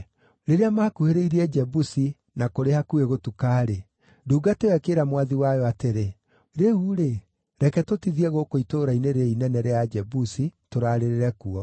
Rĩrĩa maakuhĩrĩirie Jebusi na kũrĩ hakuhĩ gũtuka-rĩ, ndungata ĩyo ĩkĩĩra mwathi wayo atĩrĩ, “Rĩu-rĩ, reke tũtithie gũkũ itũũra-inĩ rĩĩrĩ inene rĩa Ajebusi tũraarĩrĩre kuo.”